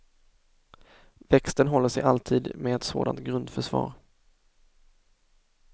Växten håller sig alltid med ett sådant grundförsvar.